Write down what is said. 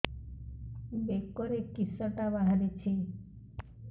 ବେକରେ କିଶଟା ବାହାରିଛି